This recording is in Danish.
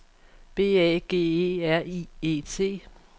B A G E R I E T